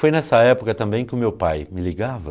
Foi nessa época também que o meu pai me ligava.